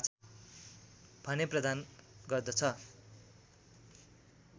भने प्रदान गर्दछ